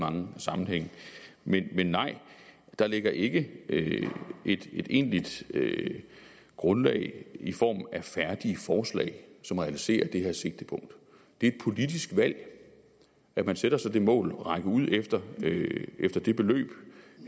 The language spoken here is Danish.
mange sammenhænge men men nej der ligger ikke et egentligt grundlag i form af færdige forslag som realiserer det her sigtepunkt det er et politisk valg at man sætter sig det mål at række ud efter efter det beløb